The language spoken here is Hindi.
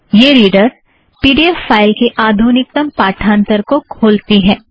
यह reader P D F file की आधुनिकतम पाठांथर को खोलती है